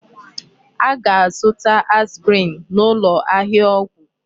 A ga-azụta aspirin n'ụlọ ahịa ọgwụ.